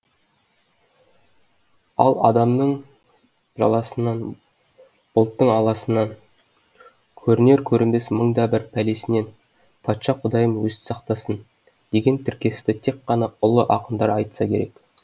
ал адамның жаласынан бұлтың аласынан көрінер көрінбес мың да бір пәлесінен патша құдайым өзі сақтасын деген тіркесті тек қана ұлы ақындар айтса керек